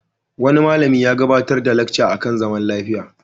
Wani malami ya gabarar da lacca a kan zaman lafiya.